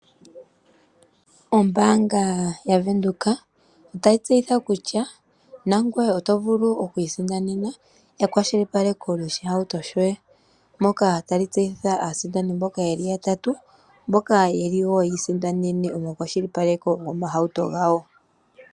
Ombaanga ya Venduka otayi tseyitha kutya, nangoye oto vulu oku isindanena ekwashilipaleko lyoshihauto shoye. Moka tali tseyitha aasindani mboka yeli yatatu, mboka yeli woo ya isindanene omakwashilipaleko gomahauto gawo.